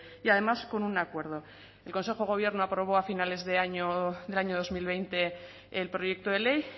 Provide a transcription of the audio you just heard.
y además con un acuerdo el consejo de gobierno aprobó a finales del año dos mil veinte el proyecto de ley